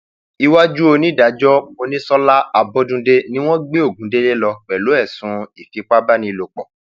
iwájú onídàájọ monísọlá abọdúndẹ ni wọn gbé ogundélé lọ pẹlú ẹsùn ìfipábánilòpọ